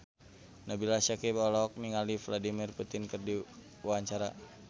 Nabila Syakieb olohok ningali Vladimir Putin keur diwawancara